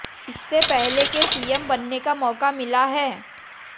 इससे पहले के सीएम बनने का मौका मिला है